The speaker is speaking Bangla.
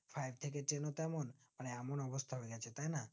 five থেকে ten ও তেমন আর এমন অবস্থা হয়েগেছে তাই না